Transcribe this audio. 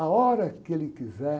A hora que ele quiser...